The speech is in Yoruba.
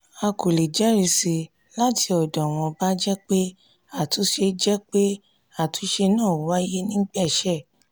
a kò lè jẹ́risí láti ọdọ̀ wọn bá jẹ́ pé àtúnṣe jẹ́ pé àtúnṣe náà wáyé nígbẹ́ṣẹ